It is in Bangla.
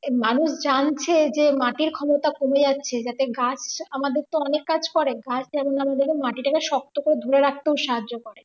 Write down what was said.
মানুষ জানছে যে মাটির ক্ষমতা কমে যাচ্ছে যাতে গাছ আমাদের তো অনেক কাজ করে গাছ এমন যেমন যেন মাটি টাকে শক্ত করে ধরে রাখতেও সাহায্য করে।